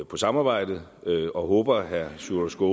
på samarbejdet og håber at herre sjúrður